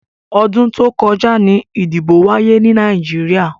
Ọdún tó kọjá ni ìdìbò wáyé ni Nàìjíríà.